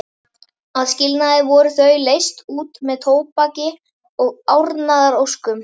Að skilnaði voru þau leyst út með tóbaki og árnaðaróskum.